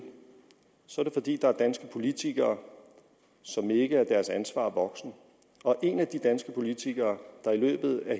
så er det fordi der er danske politikere som ikke er deres ansvar voksen og en af de danske politikere der i løbet af